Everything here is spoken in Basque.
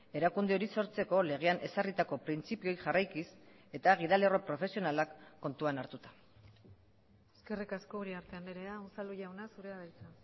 erakunde hori sortzeko legean ezarritako printzipioei jarraikiz eta gidalerro profesionalak kontuan hartuta eskerrik asko uriarte andrea unzalu jauna zurea da hitza